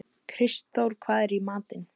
Kristþór, hvað er í matinn?